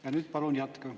Ja nüüd palun jätka.